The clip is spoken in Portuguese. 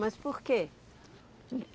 Mas por quê?